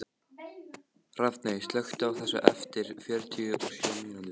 Hrafney, slökktu á þessu eftir fjörutíu og sjö mínútur.